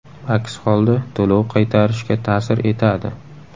Aks holda to‘lov qaytarishga ta’sir etadi.